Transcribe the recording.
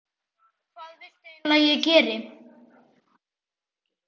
Hvað viltu eiginlega að ég geri?